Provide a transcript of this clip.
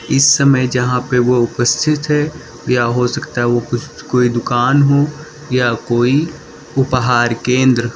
इस समय जहां पे वो उपस्थित है या हो सकता है वो कुछ कोई दुकान हो या कोई उपहार केंद्र।